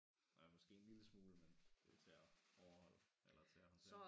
Nå ja måske en lille smule men det til at overholde eller til at håndtere